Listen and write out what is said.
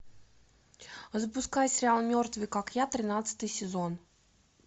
запускай сериал мертвый как я тринадцатый сезон